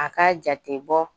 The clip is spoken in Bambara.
A k'a jate bɔ